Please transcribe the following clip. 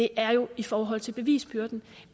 er jo i forhold til bevisbyrden